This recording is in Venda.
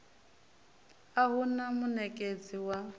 a hu na munekedzi wa